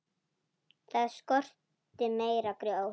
Það skorti meira grjót.